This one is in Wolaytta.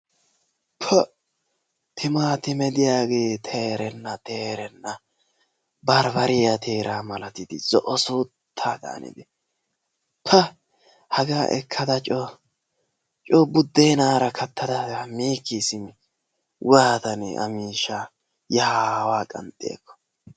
pa! timaatime diyaagee teerenna teerenna barbbariyaa teeraa malattidi zo'o suuttaadan haanidi. pa! hagaa ekkada coo buuddenaara kattaada coo miikkii simi waatanee a miishshaa yaa aawaa qanxxi eekko.